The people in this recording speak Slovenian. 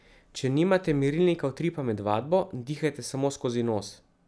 Če nimate merilnika utripa med vadbo, dihajte samo skozi nos.